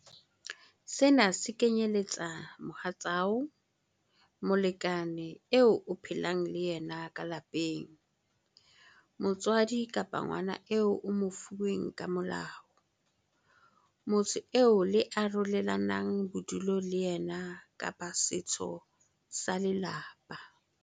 Sena se kenyeletsa mohatsao, molekane eo o phelang le yena ka lapeng, motswadi kapa ngwana eo o mo fuweng ka molao, motho eo le arolelanang bodulo le yena kapa setho sa lelapa.